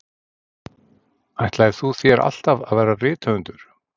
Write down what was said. Ætlaðir þú þér alltaf að verða rithöfundur?